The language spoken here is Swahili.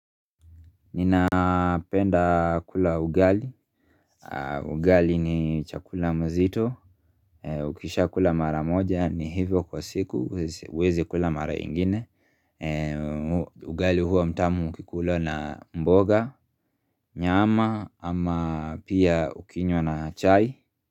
Ninapenda kula ugali Ugali ni chakula mzito Ukishakula mara moja ni hivyo kwa siku uwezi kula mara ingine Ugali huwa mtamu ukikula na mboga Nyama ama pia ukinywa na chai.